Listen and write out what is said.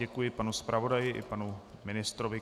Děkuji panu zpravodaji i panu ministrovi.